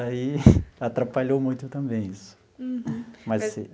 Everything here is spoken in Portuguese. Aí atrapalhou muito também isso. Uhum.